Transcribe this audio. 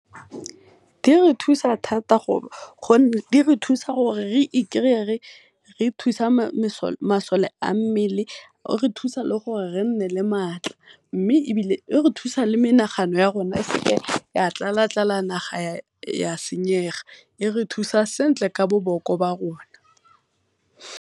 Di re thusa thata gonne di re thusa gore re ikry-e re thusa masole a mmele, e re thusa le gore re nne le matla, mme e bile e re thusa le menagano ya rona e seke ya tlala-tlala naga ya senyega, e re thusa sentle ka boboko ba rona.